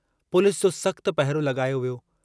Police जो सख़्तु पहिरो लगायो वियो।